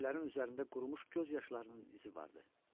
Sətirlərin üzərində qurumuş göz yaşlarının izi vardı.